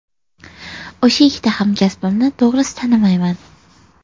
O‘sha ikkita hamkasbimni to‘g‘risi tanimayman.